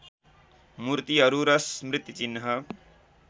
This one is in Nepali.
मूर्तिहरू र स्मृतिचिह्न